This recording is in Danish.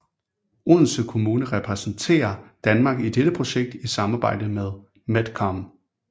Odense Kommune repræsenterer Danmark i dette projekt i samarbejde med MedCom